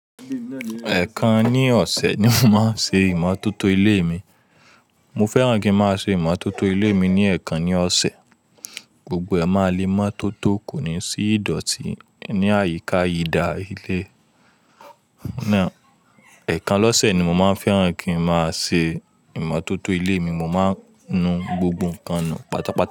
Ẹ̀kan ní ọ̀sẹ̀ ni mo máa ń ṣe ìmọ́tótó ilé mi. Mo fẹ́ràn kí ń máa ṣe ìmọ́tótó ilé mi ní ẹẹ̀kan ní ọ̀sẹ̀. Gbogbo ẹ ma le mó tótó kò ní sí ìdọ̀tí ní àyíká ìdá ilé. Ẹ̀kan lọ́sẹ̀ ni mo máa ń fẹ́ràn kí ń máa ṣe ìmọ́tótó ilé mi. Mo máa ń nu gbogbo ǹkan nù pátápátá.